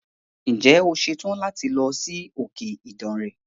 Ǹje o ṣetàn láti lọ sí òkè Ìdànre.